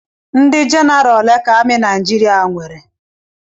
Ndị jenaraal ole ka amị Naijiriia nwere?